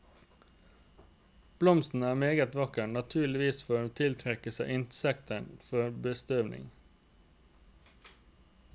Blomsten er meget vakker, naturligvis for å tiltrekke seg insekter for bestøvning.